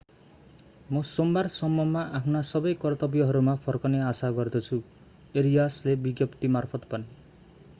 म सोमबारसम्ममा आफ्ना सबै कर्तव्यहरूमा फर्कने आशा गर्छु arias ले विज्ञप्तिमार्फत भने